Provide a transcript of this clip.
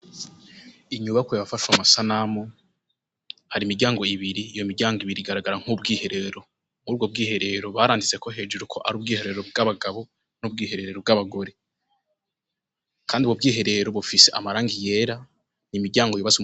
Inyubakwa yafashwe amasanamu, hari imiryango ibiri, iyo miryango ibiri igaragara nk'ubwiherero. Muri ubwo bwiherero baranditseko hejuru ko ari ubwiherero bw'abagabo n'ubwiherero bw'abagore. Kandi ubwo bwiherero bufise amarangi yera, imiryango yubatswe mu.